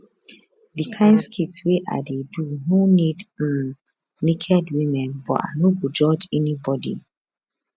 di kain skit wey i dey do no need um naked women but i no go judge anybody